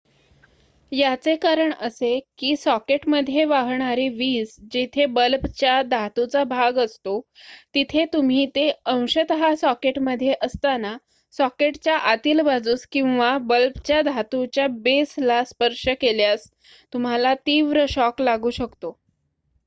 याचे कारण असे की सॉकेटमध्ये वाहणारी वीज जिथे बल्बच्या धातूचा भाग असतो तिथे तुम्ही ते अंशतः सॉकेटमध्ये असताना सॉकेटच्या आतील बाजूस किंवा बल्बच्या धातूच्या बेसला स्पर्श केल्यास तुम्हाला तीव्र शॉक लागू शकतो